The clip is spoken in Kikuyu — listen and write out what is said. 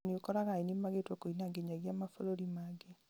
na nĩũkoraga ainĩ magĩtwo kũina nginyagia mabũrũri mangĩ